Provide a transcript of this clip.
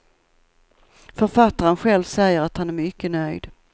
Författaren själv säger att han är mycket nöjd.